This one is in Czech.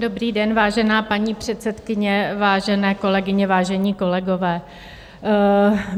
Dobrý den, vážená paní předsedkyně, vážené kolegyně, vážení kolegové.